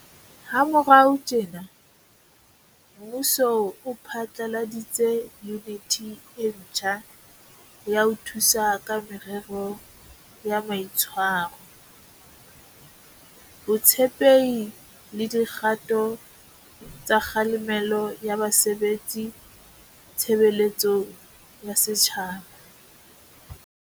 Ha morao tjena, mmuso o phatlaladitse Yuniti e ntjha ya ho Thusa ka Merero ya Mai tshwaro, Botshepehi le Di kgato tsa Kgalemelo ya Ba sebetsi Tshebeletsong ya Setjhaba.